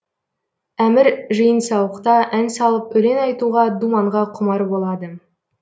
әмір жиын сауықта ән салып өлең айтуға думанға құмар болады